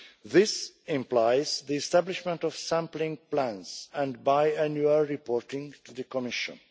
This implies the establishment of sampling plans and biannual reporting to the Commission.